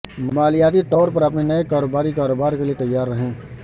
مالیاتی طور پر اپنے نئے کاروباری کاروبار میں تیار رہیں